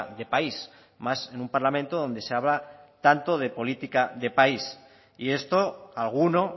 de país más en un parlamento donde se habla tanto de política de país y esto a alguno